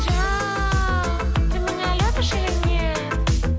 жан ты меня любишь или нет